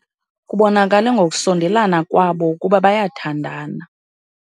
Kubonakale ngokusondelana kwabo ukuba bayathandana.